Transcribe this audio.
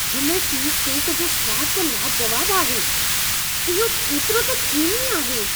हिन cheese cake जो स्वाद त लाजवाबु आहे। इहो केतिरो त क्रीमी आहे!